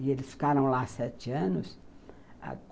E eles ficaram lá sete anos.